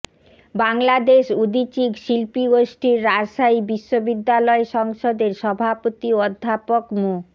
বাংলাদেশ উদীচী শিল্পীগোষ্ঠীর রাজশাহী বিশ্ববিদ্যালয় সংসদের সভাপতি অধ্যাপক মো